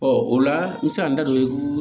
o la n bɛ se ka n da don